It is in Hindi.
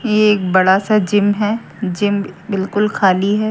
ये एक बड़ा सा जिम है जिम बिल्कुल खाली है।